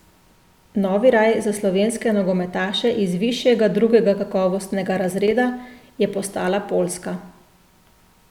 Novi raj za slovenske nogometaše iz višjega drugega kakovostnega razreda je postala Poljska.